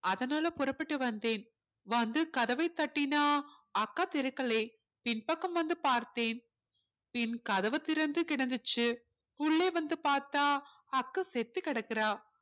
அதனால புறப்பட்டு வந்தேன் வந்து கதவைத் தட்டினா அக்கா திறக்கலே பின்பக்கம் வந்து பார்த்தேன் பின் கதவு திறந்து கிடந்துச்சு உள்ளே வந்து பார்த்தா அக்கா செத்து கிடக்குறாள்